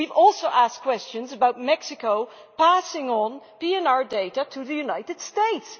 We have also asked questions about Mexico passing on PNR data to the United States.